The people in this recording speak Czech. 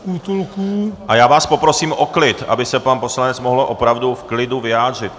A já vás poprosím o klid, aby se pan poslanec mohl opravdu v klidu vyjádřit.